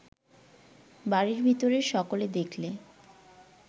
বাড়ির ভিতরের সকলে দেখলে